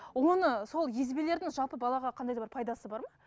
оны сол езбелердің жалпы балаға қандай да бір пайдасы бар ма